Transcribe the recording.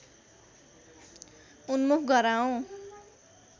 उन्मुख गराऔं